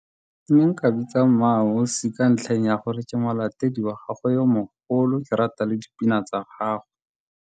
Ke ne nka bitsa MmaAusi ka ntlheng ya gore ke molatedi wa gagwe yo mogolo, ke rata le dipina tsa gagwe.